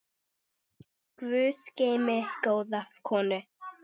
Guð geymi góða konu.